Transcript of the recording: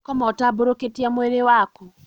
Koma ũtambũrũkĩtie mwĩrĩ waku